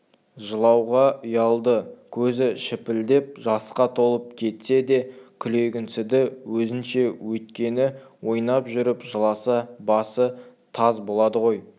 жылауға ұялды көзі шіпілдеп жасқа толып кетсе де күлгенсіді өзінше өйткені ойнап жүріп жыласа басы таз болады ғой